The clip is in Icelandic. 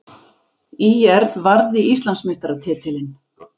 ÍR varði Íslandsmeistaratitilinn